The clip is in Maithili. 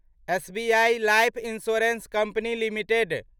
SBI life insurance company limited